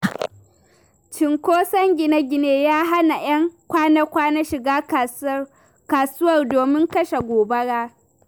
Cunkoson gine-gine, ya hana 'yan kwana-kwana shiga kasuwar domin kashe gobara.